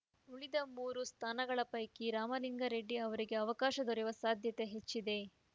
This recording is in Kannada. ಉಳಿದ ಮೂರು ಸ್ಥಾನಗಳ ಪೈಕಿ ರಾಮಲಿಂಗಾರೆಡ್ಡಿ ಅವರಿಗೆ ಅವಕಾಶ ದೊರೆಯುವ ಸಾಧ್ಯತೆ ಹೆಚ್ಚಿದೆ